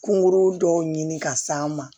Kungo dɔw ɲini ka s'an ma